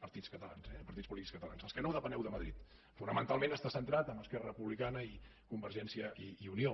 partits catalans eh partits polítics catalans els que no depeneu de madrid fonamentalment està centrat en esquerra republicana i convergència i unió